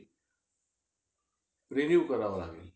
renew करावा लागेल.